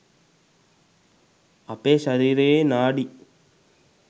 අපේ ශරීරයේ නාඩි